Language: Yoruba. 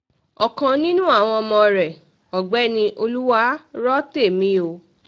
ọ̀kan nínú àwọn ọmọ rẹ um ọ̀gbẹ́ni olùwárọ̀tẹ̀mí o